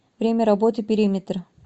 время работы периметр